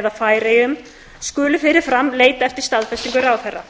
eða færeyjum skulu fyrir fram leita eftir staðfestingu ráðherra